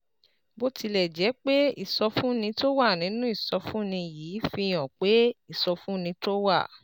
Bó tilẹ̀ jẹ́ pé ìsọfúnni tó wà nínú ìsọfúnni yìí fi hàn pé ìsọfúnni tó wà